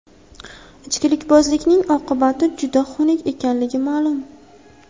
Ichkilikbozlikning oqibati juda xunuk ekanligi hammaga ma’lum.